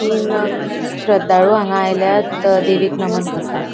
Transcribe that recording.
तीन अ श्रद्धाळु हांगा आयल्यात देवीक नमन करपाक.